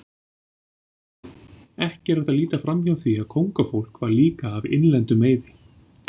Ekki er hægt að líta framhjá því að kóngafólk var líka af innlendum meiði.